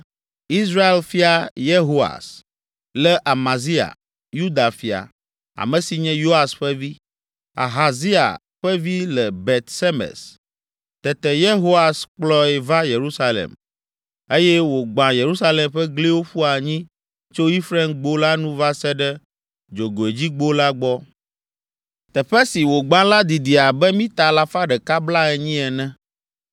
Israel fia Yehoas lé Amazia, Yuda fia, ame si nye Yoas ƒe vi, Ahazia ƒe vi le Bet Semes. Tete Yehoas kplɔe va Yerusalem eye wògbã Yerusalem ƒe gliwo ƒu anyi tso Efraimgbo la nu va se ɖe Dzogoedzigbo la gbɔ. Teƒe si wògbã la didi abe mita alafa ɖeka blaenyi ene.